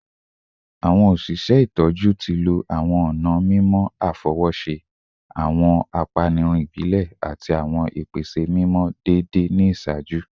Awọn oṣiṣẹ itọju ti lo awọn ọna mimọ afọwọṣe, awọn apanirun ibile, ati awọn ipese mimọ deede ni iṣaaju